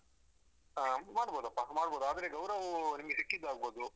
ಹಾ ಮಾಡ್ಬೋದಪ್ಪ ಮಾಡ್ಬೋದು ಆದ್ರೆ ಗೌರವ್ ನಿಮ್ಗೆ ಸಿಕ್ಕಿದ್ದು ಆಗ್ಬೋದು.